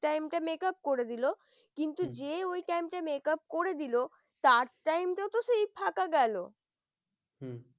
time makeup করে দিল । কিন্তু যে ওই time makeup করে দিল তার time তো সেই ফাঁকা গেল হম